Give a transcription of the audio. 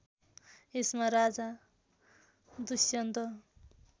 यसमा राजा दुष्यन्त